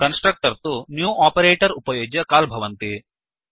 constructors तु new operator उपयुज्य call भवन्ति